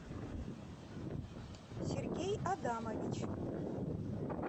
сергей адамович